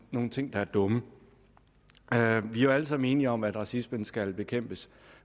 nogle ting der er dumme vi er jo alle sammen enige om at racismen skal bekæmpes